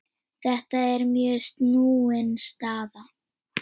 Þetta er mjög snúin staða.